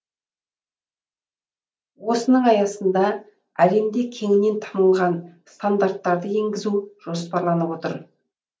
осының аясында әлемде кеңінен танылған стандарттарды енгізу жоспарланып отыр